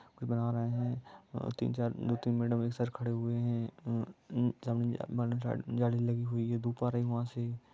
बना रहे हैं और तीन- चार दो-तीन मैडम एक कर खड़े हुए हैं गाड़ी लगी हुई है धूप आ रही वहां से।